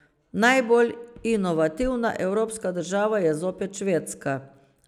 Najbolj inovativna evropska država je zopet Švedska.